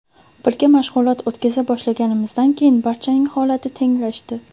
Birga mashg‘ulot o‘tkaza boshlaganimizdan keyin barchaning holati tenglashdi.